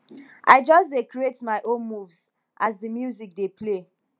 i just dey create my own moves as di music dey play